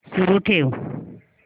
सुरू ठेव